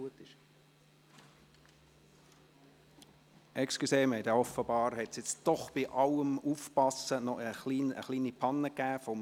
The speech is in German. Trotz allen Aufpassens hat es beim Einordnen offenbar eine kleine Panne gegeben.